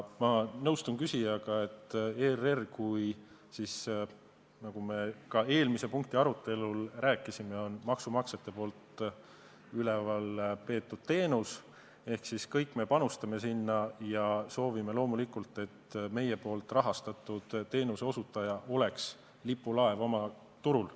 Ma nõustun küsijaga, et ERR, nagu me ka eelmise punkti arutelul rääkisime, on maksumaksjate poolt üleval peetav teenus ehk kõik me panustame sinna ja soovime loomulikult, et meie rahastatud teenuseosutaja oleks lipulaev turul.